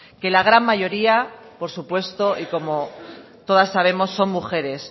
que la gran mayoría por supuesto y como todas sabemos son mujeres